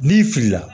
N'i filila